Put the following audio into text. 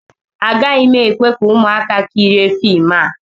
Agaghị m ekwe ka ụmụaka kirie fim a